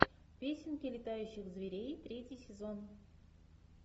песенки летающих зверей третий сезон